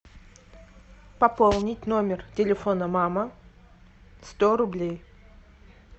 пополнить номер телефона мама сто рублей